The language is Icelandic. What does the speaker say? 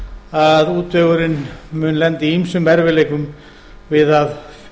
að útvegurinn mun lenda í ýmsum erfiðleikum við að